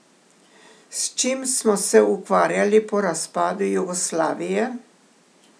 S čim smo se ukvarjali po razpadu Jugoslavije?